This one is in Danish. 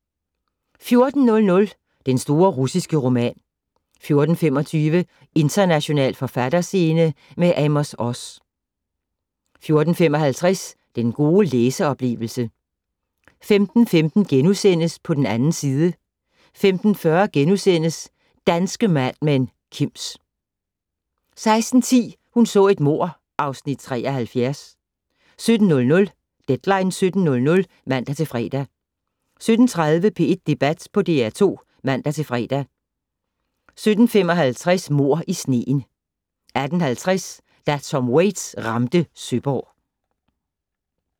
14:00: Den store russiske roman 14:25: International forfatterscene - med Amos Oz 14:55: Den gode læseoplevelse 15:15: På den 2. side * 15:40: Danske Mad Men: Kims * 16:10: Hun så et mord (Afs. 73) 17:00: Deadline 17.00 (man-fre) 17:30: P1 Debat på DR2 (man-fre) 17:55: Mord i sneen 18:50: Da Tom Waits ramte Søborg